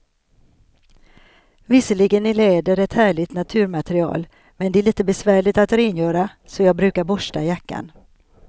Visserligen är läder ett härligt naturmaterial, men det är lite besvärligt att rengöra, så jag brukar borsta jackan.